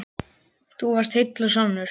Þú varst heill og sannur.